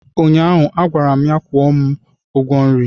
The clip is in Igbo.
ụnyaahụ, a gwara m ya kwụọ m nri!